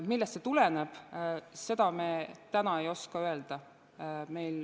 Millest see tuleneb, seda me täna ei oska öelda.